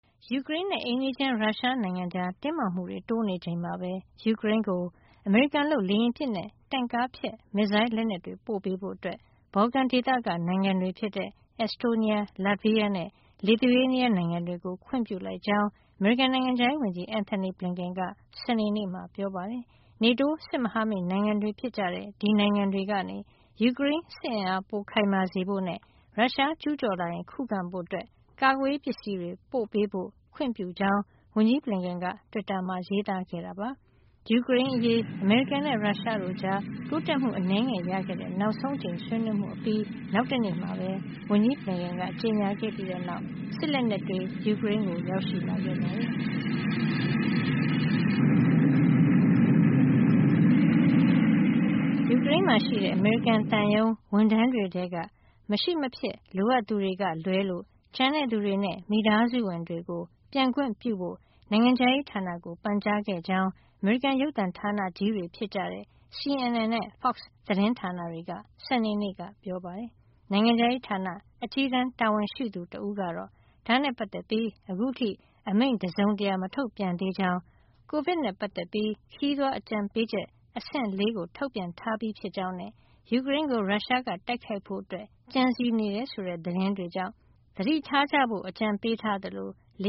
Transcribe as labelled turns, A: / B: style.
A: ယူကရိန်းနဲ့ အိမ်နီးချင်း ရုရှားနိုင်ငံကြား တင်းမာမှုတွေ တိုးနေချိန်မှာပဲ ယူကရိန်းကို အမေရိကန်လုပ် လေယာဉ်ပစ်နဲ့ တင့်ကားဖျက် မစ်ဇိုင်းလက်နက်တွေ ပို့ပေးဖို့ ဘော်လကန်ဒေသက နိုင်ငံတွေဖြစ်တဲ့ Estonia, Latvia နဲ့ Lithuania နိုင်ငံတွေကို ခွင့်ပြုလိုက်ကြောင်း အမေရိကန် နိုင်ငံခြားရေးဝန်ကြီး Antony Blinken က စနေနေ့မှာ ပြောပါတယ်။ NATO စစ်မဟာမိတ်နိုင်ငံတွေဖြစ်တဲ့ ဒီနိုင်ငံတွေကနေ ယူကရိန်းစစ်အင်အား ပိုခိုင်မာစေဖို့နဲ့ ရုရှား ကျူးကျော်လာရင် ခုခံဖို့ ကာကွယ်ရေးပစ္စည်းတွေ ပို့ပေးဖို့ ခွင့်ပြုကြောင်း ဝန်ကြီး Blinken က တွစ်တာမှာ ရေးသားခဲ့တာပါ။ ယူကရိန်းအရေး အမေရိကန်နဲ့ ရုရှားတို့ကြား တိုးတက်မှု အနည်းငယ်ရခဲ့တဲ့ နောက်ဆုံးအကြိမ် ဆွေးနွေးမှုအပြီး နောက်တနေ့မှာ ဝန်ကြီး Blinken က ကြေညာခဲ့ပြီးနောက် စစ်လက်နက်တွေ ယူကရိန်းကို
B: ရောက်ရှိလာခဲ့ပါတယ်။
A: ယူကရိန်းမှာရှိတဲ့ အမေရိကန်သံရုံး ဝန်ထမ်းတွေထဲက မရှိမဖြစ် လိုအပ်သူတွေကလွဲလို့ ကျန်တဲ့သူတွေနဲ့ မိသားစုဝင်တွေကို ပြန်ခွင့်ပြုဖို့ နိုင်ငံခြားရေးဌာနကို ပန်ကြားခဲ့ကြောင်း အမေရိကန် ရုပ်သံဌာနကြီးတွေဖြစ်တဲ့ CNN နဲ့ Fox သတင်းဌာနတွေက စနေနေ့မှာ ပြောပါတယ်။ နိုင်ငံခြားရေးဌာန အကြီးတန်း တာဝန်ရှိသူ တဦးကတော့ ဒါနဲ့ပတ်သက်ပြီး ခုထိ အမိန့်တစုံတရာ မထုတ်ပြန်သေးကြောင်း ကိုဗစ်နဲ့ပတ်သက်ပြီး ခရီးသွားအကြံပေးချက် အဆင့် ၄ ကို ထုတ်ပြန်ထားပြီးဖြစ်ကြောင်းနဲ့ ယူကရိန်းကို ရုရှားက တိုက်ခိုက်ဖို့ ကြံစည်နေတယ်ဆိုတဲ့ သတင်းတွေကြောင့် သတိထားကြဖို့ အကြံပေးထားသလို လ